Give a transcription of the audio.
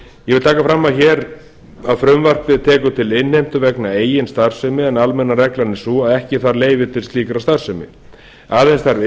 ég vil taka fram hér að frumvarpið tekur til innheimtu vegna eigin starfsemi en almenna reglan er sú að ekki þarf leyfi til slíkrar starfsemi aðeins þarf